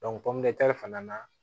fana na